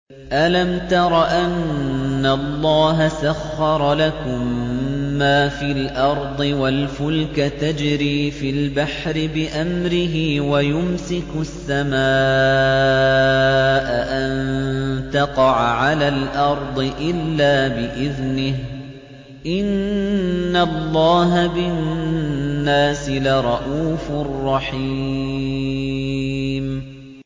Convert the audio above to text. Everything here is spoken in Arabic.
أَلَمْ تَرَ أَنَّ اللَّهَ سَخَّرَ لَكُم مَّا فِي الْأَرْضِ وَالْفُلْكَ تَجْرِي فِي الْبَحْرِ بِأَمْرِهِ وَيُمْسِكُ السَّمَاءَ أَن تَقَعَ عَلَى الْأَرْضِ إِلَّا بِإِذْنِهِ ۗ إِنَّ اللَّهَ بِالنَّاسِ لَرَءُوفٌ رَّحِيمٌ